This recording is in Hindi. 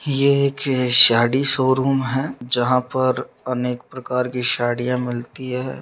ये एक साड़ी शोरूम है जहाँ पर अनेक प्रकार की साड़ियां मिलती है।